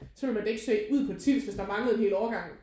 Så ville man da ikke søge ud på Tilst hvis der mangler en hel årgang